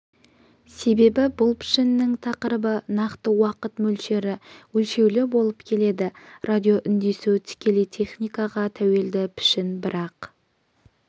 себебі бұл пішіннің тақырыбы нақты уақыт мөлшері өлшеулі болып келеді радиоүндесу тікелей техникаға тәуелді пішін бірақ